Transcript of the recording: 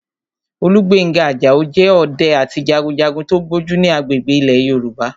Olúgbénga Àjàó jẹ́ ọdẹ àti jagunjagun tó gbójú ní agbègbè ilẹ̀ Yorùbá